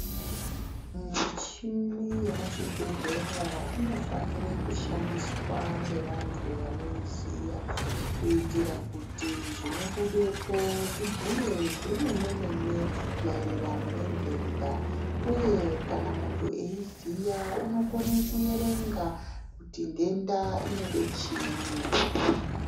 Muchini yemuzvibhehlera inofanira kushandiswa ngevantu vanoiziya kuitira kuti zvinobudepo zvibhuye zvemene mene maererano nendenda, uye kana muntu eiziya unokone kuerenga kuti ndenda inode chiini.